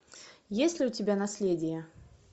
есть ли у тебя наследие